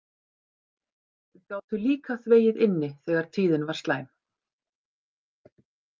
Gátu líka þvegið inni þegar tíðin var slæm.